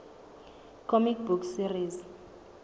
comic book series